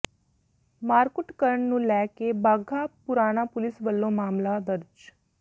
ਮਾਰਕੁੱਟ ਕਰਨ ਨੂੰ ਲੈ ਕੇ ਬਾਘਾ ਪੁਰਾਣਾ ਪੁਲਿਸ ਵਲੋਂ ਮਾਮਲਾ ਦਰਜ